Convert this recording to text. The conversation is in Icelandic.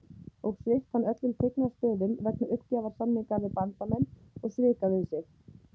og svipt hann öllum tignarstöðum vegna uppgjafarsamninga við Bandamenn og svika við sig.